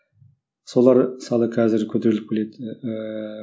солар мысалы қазір көтеріліп келеді ыыы